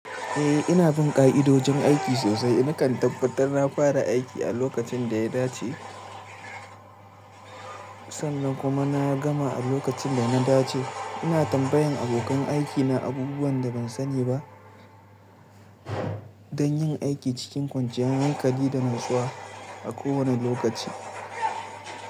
Eh ina bin ka'idojin aiki sosai. Nakan tabbatar na fara aiki a lokacin da ya dace sannan kuma na gama a lokacin da na dace. Ina tambayan abokan aikina abubuwan da ban sani ba don yin aiki cikin kwanciyar hankali da natsuwa a kowane lokaci.